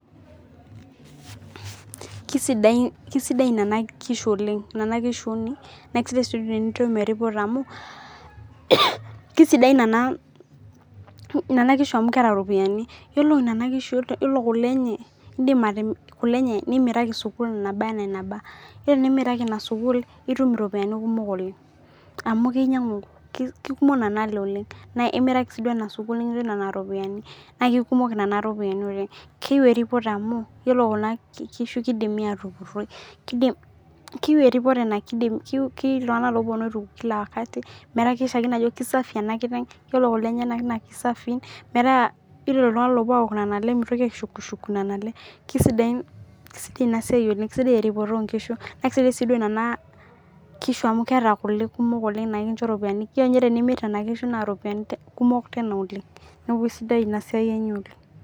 Kisidai nona kishu oleng na kesidai wi tenitum amu kesidan nona kishu amu keeta ropiyani yiolo nona kishu yiolo kulenenye nimiraki sukula naba ana enaba na enimiraji inasukula nitum iropiyani kumok amu temimiraki si duo inasukul na kekumok nona ropiyani oleng na keyieu eripoto amu yiolo kunakishu kidimi qtupuroi keyieu ltunganak na keponu aituku metaa kesafi enakiteng metayiolo ltunganak oponu ainyangu mitokibaishukuku na sidai nona kishu amu meeta kule kumok na ekincho ropiyani neaku aisidai inasiai enye oleng